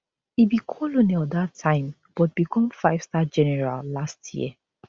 e be colonel dat time but become fivestar general last year